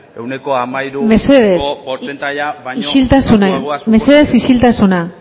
ehuneko hamairuko portzentaia baino baxuagoa suposatzen du mesedez isiltasuna mesedez isiltasuna